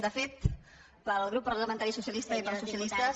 de fet pel grup parlamentari socialista i pels socialistes